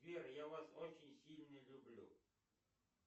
сбер я вас очень сильно люблю